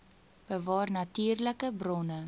bewaar natuurlike bronne